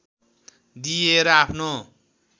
दिएर आफ्नो